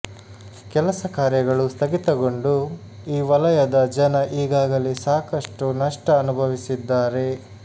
ಕೆಲಸ ಕಾರ್ಯಗಳು ಸ್ಥಗಿತಗೊಂಡು ಈ ವಲಯದ ಜನ ಈಗಾಗಲೇ ಸಾಕಷ್ಟು ನಷ್ಟ ಅನುಭವಿಸಿದ್ದಾರೆ